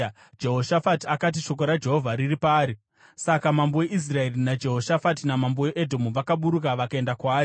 Jehoshafati akati, “Shoko raJehovha riri paari.” Saka mambo weIsraeri naJehoshafati namambo weEdhomu vakaburuka vakaenda kwaari.